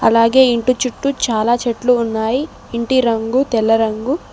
అలాగే ఇంటి చుట్టూ చాలా చెట్లు ఉన్నాయి ఇంటి రంగు తెల్ల రంగు.